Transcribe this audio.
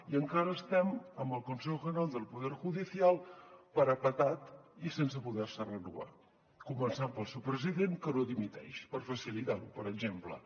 i encara estem amb el consejo general del poder judicial parapetat i sense poder se renovar començant pel seu president que no dimiteix per facilitar ho per exemple